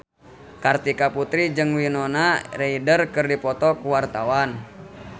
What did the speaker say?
Kartika Putri jeung Winona Ryder keur dipoto ku wartawan